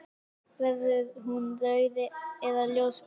Verður hún rauð eða ljósblá?